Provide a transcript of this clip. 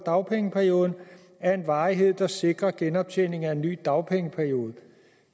af dagpengeperioden af en varighed der sikrer genoptjening af en ny dagpengeperiode